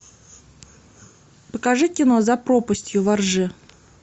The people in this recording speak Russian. покажи кино за пропастью во ржи